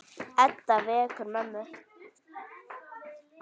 Edda vekur mömmu.